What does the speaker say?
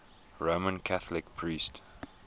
roman catholic priest